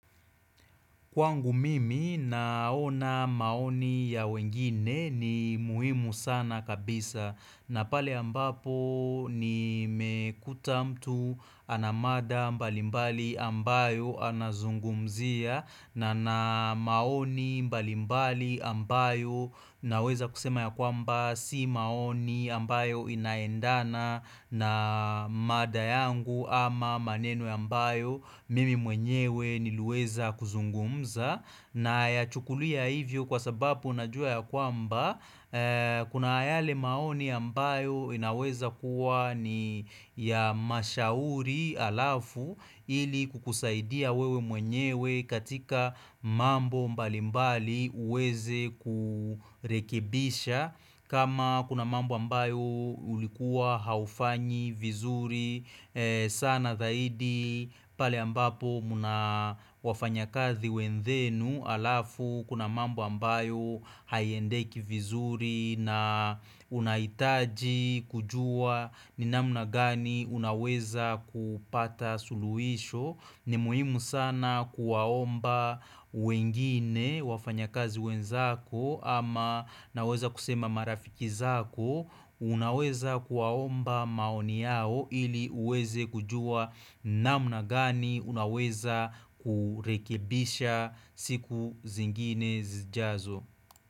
Kwangu mimi naona maoni ya wengine ni muhimu sana kabisa na pale ambapo nimekuta mtu anamada mbalimbali ambayo anazungumzia na na maoni mbali mbali ambayo naweza kusema ya kwamba si maoni ambayo inaendana na mada yangu ama maneno ya ambayo mimi mwenyewe nilueza kuzungumza. Na ya chukulia hivyo kwa sababu na jua ya kwamba kuna yale maoni ambayo inaweza kuwa ni ya mashauri alafu ili kukusaidia wewe mwenyewe katika mambo mbali mbali uweze kurekebisha kama kuna mambo ambayo ulikuwa haufanyi vizuri sana zaidi pale ambapo muna wafanyakazi wenzenu alafu kuna mambo ambayo haiendeki vizuri na unaitaji kujua ninamna gani unaweza kupata suluhisho ni muhimu sana kuwaomba wengine wafanyakazi wenzako ama naweza kusema marafiki zako Unaweza kuwaomba maoni yao ili uweze kujua namna gani unaweza kurekebisha siku zingine zijazo.